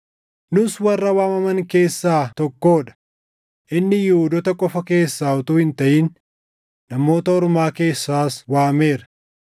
Nus warra waamaman keessaa tokkoo dha; inni Yihuudoota qofa keessaa utuu hin taʼin Namoota Ormaa keessaas waameera.